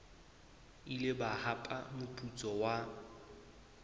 ile ba hapa moputso wa